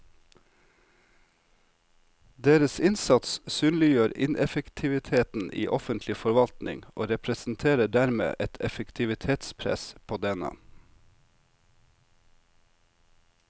Deres innsats synliggjør ineffektiviteten i offentlig forvaltning og representerer dermed et effektivitetspress på denne.